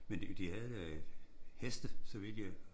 Men de de havde da øh heste så vidt jeg